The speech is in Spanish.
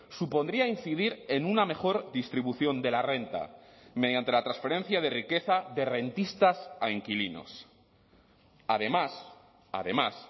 supondría incidir en una mejor distribución de la renta mediante la transferencia de riqueza de rentistas a inquilinos además además